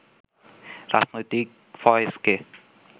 রাজনৈতিক ফয়েজকে